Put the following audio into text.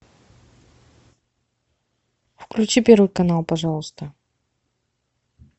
включи первый канал пожалуйста